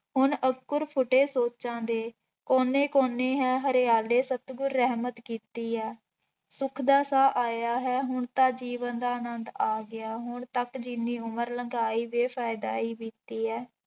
ਹੁਣ ਅੰਕੁਰ ਫੁੱਟੇ ਸੋਚਾਂ ਦੇ, ਕੋਨੇ ਕੋਨੇ ਹੈ ਹਰਿਆਲੇ ਸਤਿਗੁਰ ਰਹਿਮਤ ਕੀਤੀ ਹੈ, ਸੁੱਖ ਦਾ ਸਾਹ ਆਇਆ ਹੈ ਹੁਣ ਤਾਂ ਜੀਵਨ ਦਾ ਆਨੰਦ ਆ ਗਿਆ, ਹੁਣ ਤੱਕ ਜਿੰਨੀ ਉਮਰ ਲੰਘਾਈ ਬੇ-ਫ਼ਾਇਦਾ ਹੀ ਬੀਤੀ ਹੈ।